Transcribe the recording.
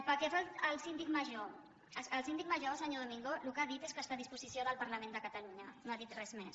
pel que fa al síndic major el síndic major senyor domingo el que ha dit és que està a disposició del parlament de catalunya no ha dit res més